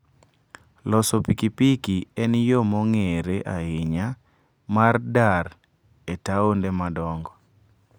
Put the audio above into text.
Loso pikipiki en yo mong'ere ahinya mar dar e taonde madongo.